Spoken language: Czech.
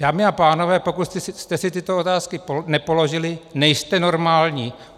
Dámy a pánové, pokud jste si tyto otázky nepoložili, nejste normální.